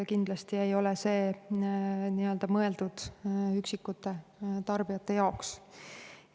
Kindlasti ei ole see mõeldud üksikute tarbijate jaoks.